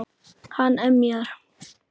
Hann emjar.